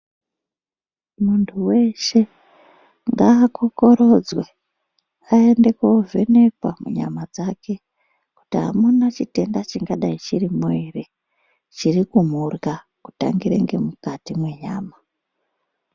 Muntu weshe ngaakokorodzwe aende kovhenekwa munyama dzake kuti amuna chitenda chingadai chiromo ere chirikumurya kutangire ngemukati mwenyama.